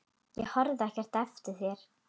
Ég horfi ekki eftir þér.